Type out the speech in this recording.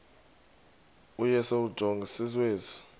u y njengesiwezi